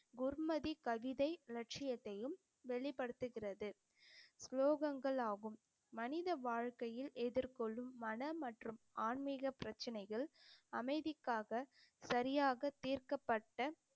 குர்மதி கவிதை லட்சியத்தையும் வெளிப்படுத்துகிறது ஸ்லோகங்கள் ஆகும் மனித வாழ்க்கையில் எதிர்கொள்ளும் மனம் மற்றும் ஆன்மீக பிரச்சனைகள் அமைதிக்காக சரியாக தீர்க்கப்பட்ட